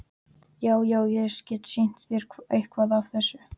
Já, já- ég get sýnt þér eitthvað af þessu.